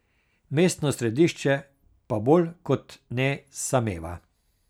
Mestno središče pa bolj kot ne sameva.